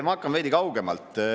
Ma alustan veidi kaugemalt.